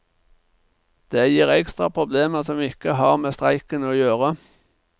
Det gir ekstra problemer som ikke har med streiken å gjøre.